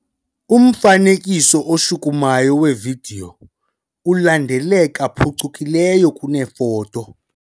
Umfanekiso oshukumayo wevidiyo ulandeleka phucukileyo kunefoto.